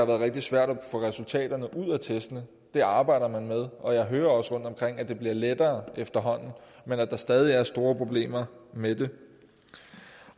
været rigtig svært at få resultaterne ud af testene det arbejder man med og jeg hører også rundtomkring at det bliver lettere efterhånden men at der stadig er store problemer med det